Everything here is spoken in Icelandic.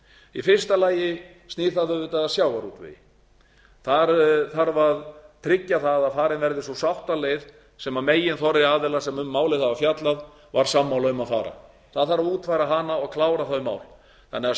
í fyrsta lagi snýr það auðvitað að sjávarútvegi þar þarf að tryggja það að farin verði sú sáttaleið sem meginþorri aðila sem um málið hafa fjallað var sammála um að fara það þarf að útfæra hana og klára þau mál þannig að